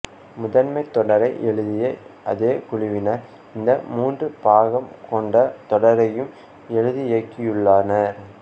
முதன்மை தொடரை எழுதிய அதே குழுவினர் இந்த மூன்று பாகம் கொண்ட தொடரையும் எழுதி இயக்கியுள்ளனர்